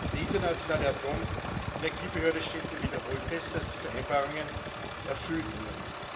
Die Internationale Atomenergiebehörde stellte wiederholt fest, dass die Vereinbarungen erfüllt wurden.